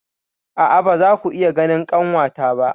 A'a, ba za ku iya ganin kanwata ba.